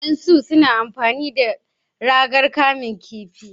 yan su na amfani da ragar kamun kifi.